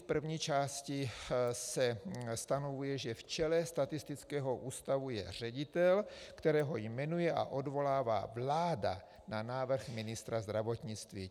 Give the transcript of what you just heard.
V první části se stanovuje, že v čele statistického ústavu je ředitel, kterého jmenuje a odvolává vláda na návrh ministra zdravotnictví.